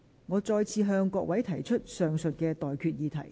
我現在向各位提出上述待決議題。